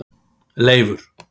Leifur